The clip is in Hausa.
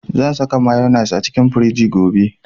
Zan saka mayonnaise cikin firiji gobe